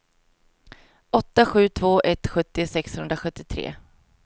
åtta sju två ett sjuttio sexhundrasjuttiotre